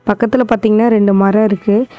பக்கத்ல பாத்தீங்கனா ரெண்டு மரோ இருக்கு.